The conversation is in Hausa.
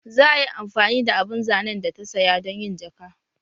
Za a yi amfani da abun zanen da ta saya don yin jaka